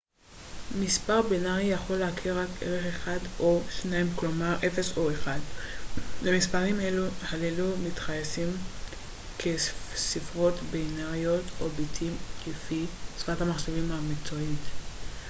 מספר בינרי יכול להכיל רק ערך אחד או שניים כלומר 0 או 1 למספרים הללו מתייחסים כספרות בינריות או ביטים לפי שפת המחשבים המקצועית